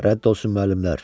Rədd olsun müəllimlər!